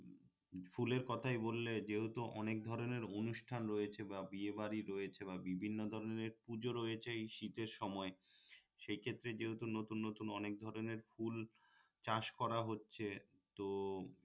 ফুলের কথাই বললে যেহেতু অনেক ধরনের অনুষ্ঠান রয়েছে বা বিয়েবাড়ি রয়েছে বা বিভিন্ন ধরনের পূঁজো রয়েছে এই শীতের সময় সেইক্ষেত্রে যেহেতু নতুন নতুন অনেক ধরনের ফুল চাষ করা হচ্ছে তো